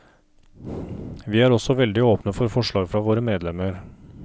Vi er også veldig åpne for forslag fra våre medlemmer.